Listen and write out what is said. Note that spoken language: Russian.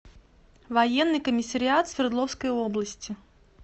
военный комиссариат свердловской области